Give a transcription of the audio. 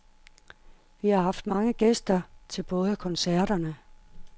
Vi har haft mange gæster til både koncerterne.